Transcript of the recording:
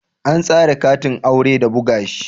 An tsara katin aure da buga shi